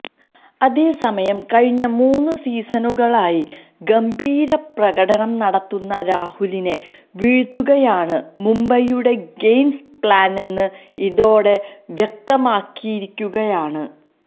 അതേസമയം കഴിഞ്ഞ മൂന്ന് സീസണുകളിലായി ഗംഭീര പ്രകടനം നടത്തുന്ന രാഹുലിനെ വീഴ്ത്തുകയാണ് മുംബൈയുടെ ഗെയിം പ്ലാനെന്ന് ഇതോടെ വ്യക്തമായിരിക്കുകയാണ്